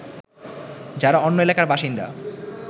যারা অন্য এলাকার বাসিন্দা